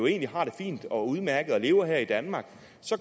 egentlig har det fint og udmærket og lever her i danmark